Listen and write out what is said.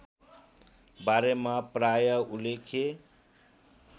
बारेमा प्राय उल्लेख